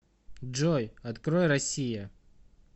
джой открой россия